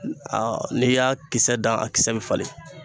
Aa n'i y'a kisɛ dan a kisɛ bɛ falen